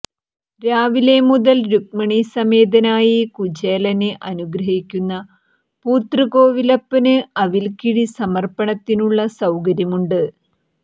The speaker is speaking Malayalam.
രാവിലെ മുതൽ രുക്മിണീസമേതനായി കചേലനെ അനുഗ്രഹിക്കുന്ന പൂത്തൃക്കോവിലപ്പന് അവൽക്കിഴി സമർപ്പണത്തിനുള്ള സൌകര്യമുണ്ട്